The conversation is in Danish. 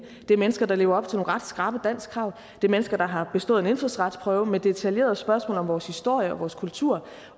det er mennesker der lever op til nogle ret skrappe danskkrav det er mennesker der har bestået en indfødsretsprøve med detaljerede spørgsmål om vores historie vores kultur